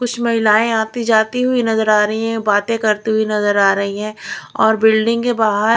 कुछ महिलाएं आती जाती हुई नजर आ रही हैं बातें करती हुई नजर आ रही हैं और बिल्डिंग के बाहर--